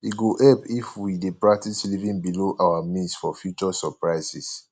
e go help if we dey practice living below our means for future surprises